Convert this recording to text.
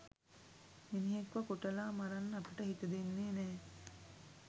මිනිහෙක්ව කොටලා මරන්න අපිට හිත දෙන්නේ නැහැ.